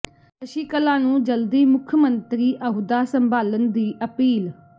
ਸ਼ਸ਼ੀਕਲਾ ਨੂੰ ਜਲਦੀ ਮੁੱੱਖ ਮੰਤਰੀ ਅਹੁਦਾ ਸੰਭਾਲਣ ਦੀ ਅਪੀਲ